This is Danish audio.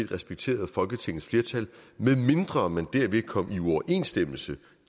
respekterede folketingets flertal medmindre man derved kom i uoverensstemmelse